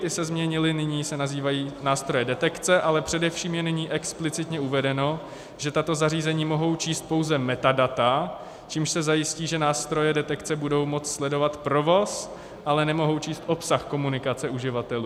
Ty se změnily, nyní se nazývají nástroje detekce, ale především je nyní explicitně uvedeno, že tato zařízení mohou číst pouze metadata, čímž se zajistí, že nástroje detekce budou moct sledovat provoz, ale nemohou číst obsah komunikace uživatelů.